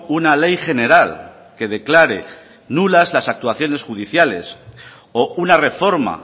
una ley general que declare nulas las actuaciones judiciales o una reforma